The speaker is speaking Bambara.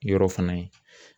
Yɔrɔ fana ye.